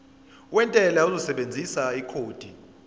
wentela uzosebenzisa ikhodi